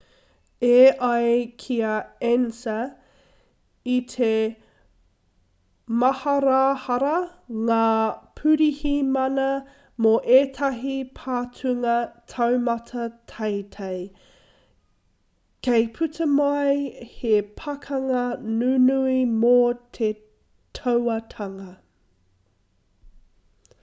e ai ki a ansa i te māharahara ngā pirihimana mō ētahi patunga taumata teitei kei puta mai he pakanga nunui mō te tauatanga